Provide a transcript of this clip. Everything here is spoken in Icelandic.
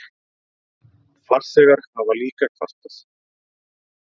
Farþegar hafa líka kvartað.